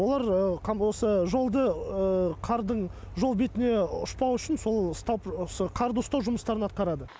олар осы жолды қардың жол бетіне ұшпау үшін сол ұстап осы қарды ұстау жұмыстарын атқарады